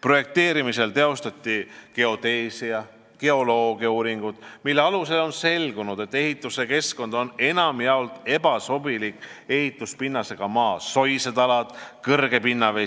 Projekteerimisel tehti geodeesia- ja geoloogiauuringuid, mille alusel on selgunud, et ehituskeskkond on enamjaolt ebasobiliku ehituspinnasega maa ,